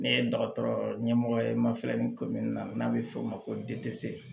Ne ye dɔgɔtɔrɔ ɲɛmɔgɔ ye n ma filɛ ni ko min na n'a bɛ f'o ma ko